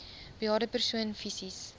bejaarde persoon fisies